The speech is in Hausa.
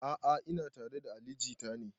A'a ina tare da ali jita ne